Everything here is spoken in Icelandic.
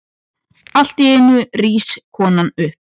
Alltíeinu rís konan upp.